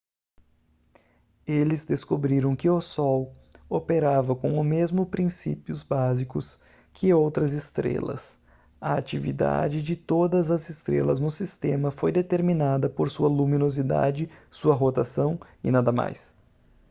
eles descobriram que o sol operava com o mesmo princípios básicos que outras estrelas a atividade de todas as estrelas no sistema foi determinada por sua luminosidade sua rotação e nada mais